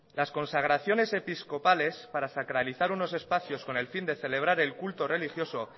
las consagraciones episcopales para sacralizar unos espacios con el fin de celebrar el culto religioso